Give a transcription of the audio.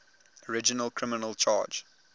original criminal charge